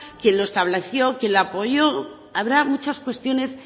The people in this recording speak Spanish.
quién lo estableció quién lo apoyo habrá muchas cuestiones